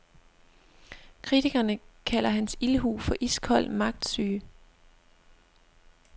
Kritikerne kalder hans ildhu for iskold magtsyge.